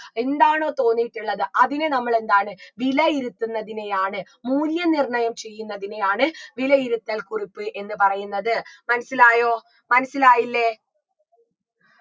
എന്താണോ തോന്നിയിട്ടുള്ളത് അതിനെ നമ്മളെന്താണ് വിലയിരുത്തുന്നതിനെയാണ് മൂല്യനിർണയം ചെയ്യുന്നതിനെയാണ് വിലയിരുത്തൽ കുറിപ്പ് എന്ന് പറയുന്നത് മനസ്സിലായോ മനസിലായില്ലേ